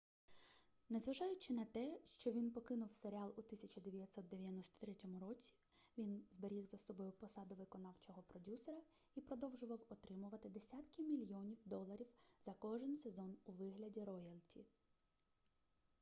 незважаючи на те що він покинув серіал у 1993 році він зберіг за собою посаду виконавчого продюсера і продовжував отримувати десятки мільйонів доларів за кожен сезон у вигляді роялті